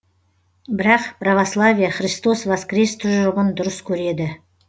бірақ православие христос воскрес тұжырымын дұрыс көреді